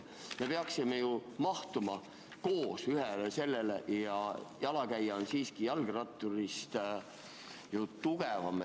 Me peaksime ju mahtuma koos ühele teele ja jalakäija on jalgratturist siiski nõrgem.